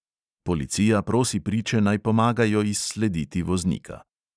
Policija prosi priče, naj pomagajo izslediti voznika.